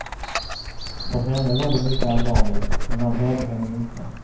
För henne var det mycket allvarligt, men han hörde henne inte.